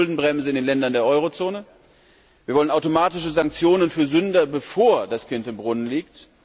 Wir wollen eine Schuldenbremse in den Ländern der Euro Zone. Wir wollen automatische Sanktionen für Sünder, bevor das Kind im Brunnen liegt.